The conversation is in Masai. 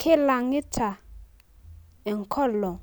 kilangita enkolong